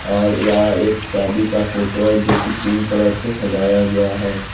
और यह एक शादी का फोटो है जो की पिंक कलर से सजाया गया है।